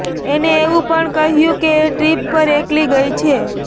એને એવું પણ કહ્યું કે એ ટ્રિપ પર એકલી ગઇ છે